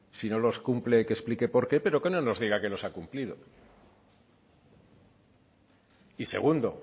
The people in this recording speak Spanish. si no los cumple que explique por qué pero que no nos diga que los ha cumplido y segundo